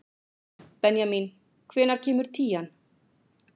Benjamín, hvenær kemur tían?